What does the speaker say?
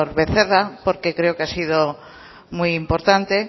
becerra porque creo que ha sido muy importante